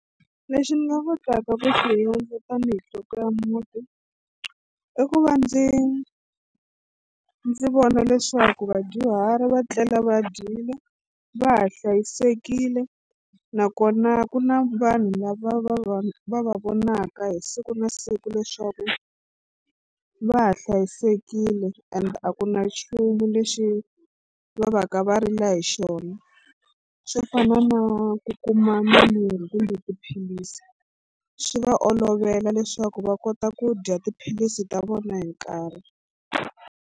Lexi ni nga kotaka ku hundza tanihi nhloko ya muti i ku va ndzi ndzi vona leswaku vadyuhari va tlela va dyile va ha hlayisekile nakona ku na vanhu lava va va va va vonaka hi siku na siku leswaku va ha hlayisekile and a ku na nchumu lexi va va ka va rila hi xona swo fana na ku kuma mimirhi kumbe tiphilisi swi va olovela leswaku va kota ku dya tiphilisi ta vona hi nkarhi.